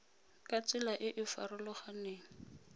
ka tsela e e farologaneng